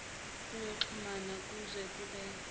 yokuxhumana kwezobu chwepheshe